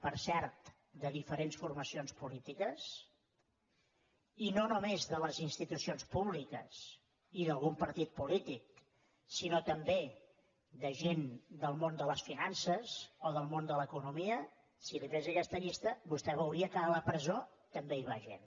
per cert de diferents formacions polítiques i no només de les institucions públiques i d’algun partit polític sinó també de gent del món de les finances o del món de l’economia si li fes aquesta llista vostè veuria que a la presó també hi va gent